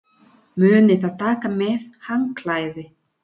Munið að taka með handklæði!